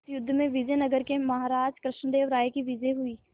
इस युद्ध में विजय नगर के महाराज कृष्णदेव राय की विजय हुई